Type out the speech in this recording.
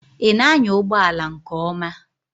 Ị na anya ụgbọ ala nke ọma?